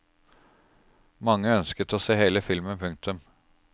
Mange ønsket å se hele filmen. punktum